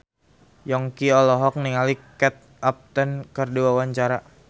Yongki olohok ningali Kate Upton keur diwawancara